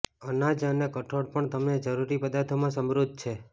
અનાજ અને કઠોળ પણ તમને જરૂરી પદાર્થોમાં સમૃદ્ધ છે